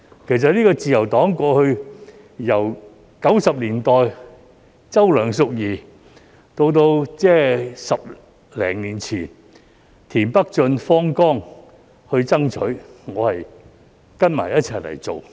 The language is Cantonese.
其實自由黨過去由1990年代的周梁淑怡到10多年前的田北俊、方剛都在爭取，我只是跟隨他們一起去做。